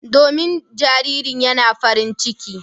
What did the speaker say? Domin jaririn yana farin ciki.